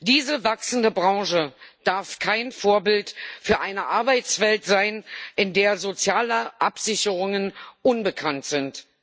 Diese wachsende Branche darf kein Vorbild für eine Arbeitswelt sein, in der soziale Absicherungen unbekannt sind.